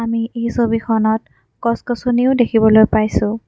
আমি এই ছবিখনত গছ-গছনিও দেখিবলৈ পাইছোঁ।